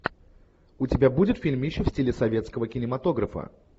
у тебя будет фильмище в стиле советского кинематографа